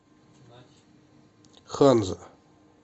ханза